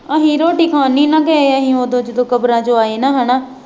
ਅਸੀਂ ਰੋਟੀ ਖਾਣ ਨਹੀਂ ਨਾ ਗਏ ਅਸੀਂ ਉਦੋਂ ਜਦੋਂ ਕਬਰਾਂ ਚੋਂ ਆਏ ਨਾ ਹੈ ਨਾ